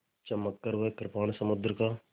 चमककर वह कृपाण समुद्र का